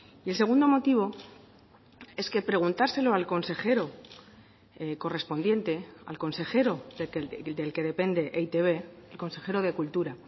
y el segundo motivo es que preguntárselo al consejero correspondiente al consejero del que depende e i te be el consejero de cultura